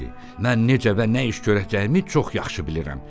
Mən necə və nə iş görəcəyimi çox yaxşı bilirəm.